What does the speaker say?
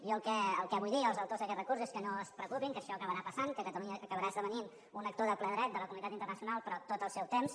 jo el que vull dir als autors d’aquest recurs és que no es preocupin que això acabarà passant que catalunya acabarà esdevenint un actor de ple dret de la comunitat internacional però tot al seu temps